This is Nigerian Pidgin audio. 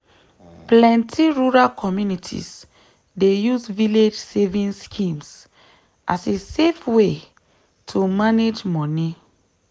plenty rural communities dey use village savings schemes as a safe way to manage money.